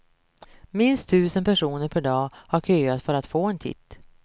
Minst tusen personer per dag har köat för att få en titt.